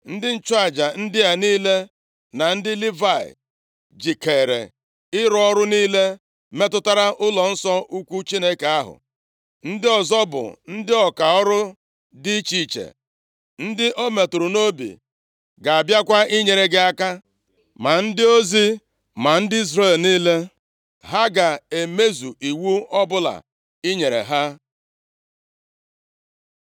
Ndị nchụaja ndị a niile, na ndị Livayị jikeere ịrụ ọrụ niile metụtara ụlọnsọ ukwu Chineke ahụ. Ndị ọzọ bụ ndị ọka ọrụ dị iche iche ndị o metụrụ nʼobi ga-abịakwa inyere gị aka, ma ndị ozi, ma ndị Izrel niile; ha ga-emezu iwu ọbụla i nyere ha.”